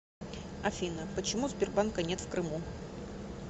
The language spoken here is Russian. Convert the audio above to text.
афина почему сбербанка нет в крыму